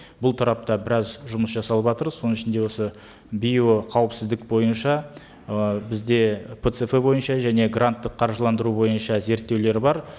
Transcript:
бұл тарапта біраз жұмыс жасалыватыр соның ішінде осы биоқауіпсіздік бойынша ы бізде пцф бойынша және гранттық қаржыландыру бойынша зерттеулер бар